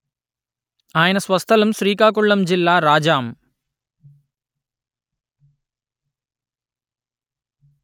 ఆయన స్వస్థలం శ్రీకాకుళం జిల్లా రాజాం